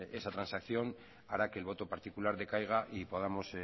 esta transacción hará que el voto particular decaiga y podamos